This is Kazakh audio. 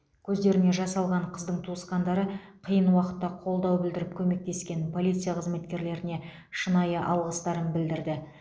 көздеріне жас алған қыздың туысқандары қиын уақытта қолдау білдіріп көмектескен полиция қызметкерлеріне шынайы алғыстарын білдірді